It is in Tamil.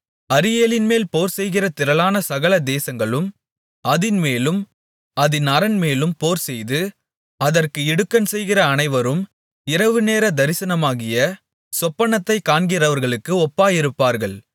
அரியேலின்மேல் போர்செய்கிற திரளான சகல தேசங்களும் அதின்மேலும் அதின் அரண்மேலும் போர்செய்து அதற்கு இடுக்கண் செய்கிற அனைவரும் இரவுநேரத் தரிசனமாகிய சொப்பனத்தைக் காண்கிறவர்களுக்கு ஒப்பாயிருப்பார்கள்